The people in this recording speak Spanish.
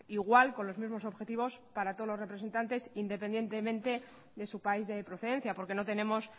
igual con los mismos objetivos para todos los representantes independientemente desu país de procedencia porque no tenemos